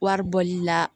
Wari bɔli la